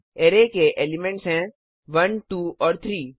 array के elements हैं 1 2 और 3